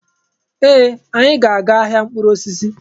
Ee! Anyị ga-aga ahịa mkpụrụ osisi.